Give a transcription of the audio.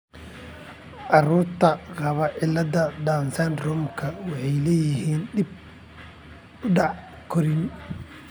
Carruurta qaba cilladda Down syndrome-ka waxay leeyihiin dib u dhac korriin.